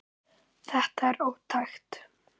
Þetta er ótækt.